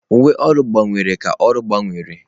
Uwe ọrụ gbanwere ka ọrụ gbanwere.